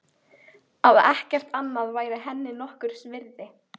Að ekkert annað væri henni nokkurs virði.